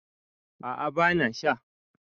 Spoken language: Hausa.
a a bana sha